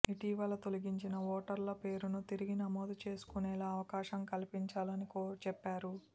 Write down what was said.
ఇటీవల తొలగించిన ఓటర్ల పేర్లు తిరిగి నమోదు చేసుకునేలా అవకాశం కల్పించాలని చెప్పారు